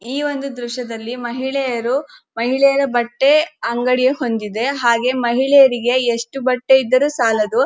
ಈ ಒಂದು ದ್ರಶ್ಯದಲ್ಲಿ ಮಹಿಳೆಯರು ಮಹಿಳೆಯರ ಬಟ್ಟೆ ಅಂಗಡಿ ಹಾಗೆ ಮಹಿಳೆಯರಿಗೆ ಎಷ್ಟು ಬಟ್ಟೆ ಇದ್ದರು ಸಾಲದು.